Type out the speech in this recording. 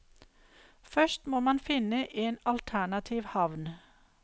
Først må man finne en alternativ havn.